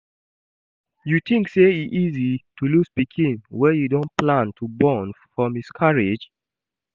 You think say e easy to lose pikin wey you don plan to born for miscarriage?